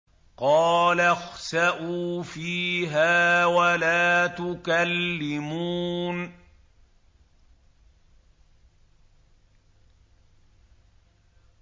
قَالَ اخْسَئُوا فِيهَا وَلَا تُكَلِّمُونِ